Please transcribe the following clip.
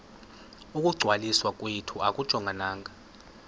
ukungcwaliswa kwethu akujongananga